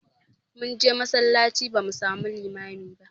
Mun je masallaci ba mu samu limami ba